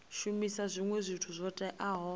shumisa zwinwe zwithu zwo teaho